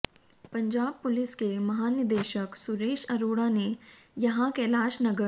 Punjab police के महानिदेशक सुरेश आरोड़ा ने यहां कैलाश नगर